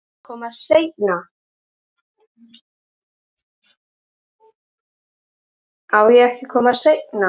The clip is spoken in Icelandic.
Á ég ekki að koma seinna?